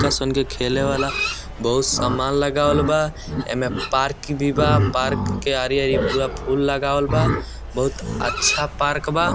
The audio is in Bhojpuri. लईका सन के खेले वाला बहुत सामान लगावल बा एमे पार्क भी बा पार्क के आरी-आरी पूरा फूल लगावल बा बहुत अच्छा पार्क बा।